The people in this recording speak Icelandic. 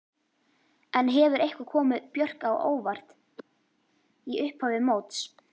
En hefur eitthvað komið Björk á óvart í upphafi móts?